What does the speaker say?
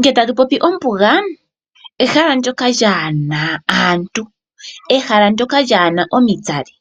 Nge tatu popi ombuga ehala ndoka lyaana aantu, ehala lyaana omitsali.